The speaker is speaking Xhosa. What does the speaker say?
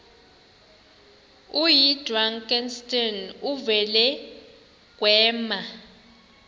oyidrakenstein uvele kwema